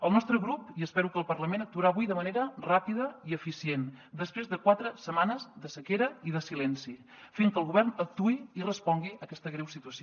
el nostre grup i espero que el parlament actuarà avui de manera ràpida i eficient després de quatre setmanes de sequera i de silenci fent que el govern actuï i respongui a aquesta greu situació